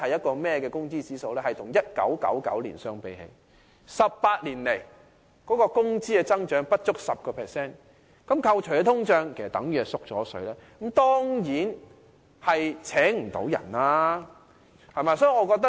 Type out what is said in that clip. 它顯示了與1999年相比 ，18 年來業界的工資增長不足 10%， 扣除通脹後即等同"縮水"，這樣當然聘不到人。